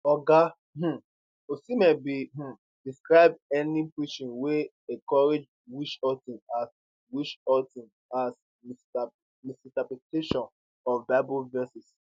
oga um osimen bin um describe any preaching wey encourage witchhunting as witchhunting as misinterpretation of bible verses